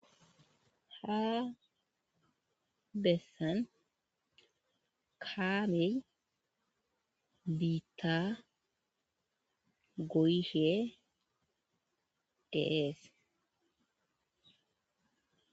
Ha bessan kaamel biitta goyishe deees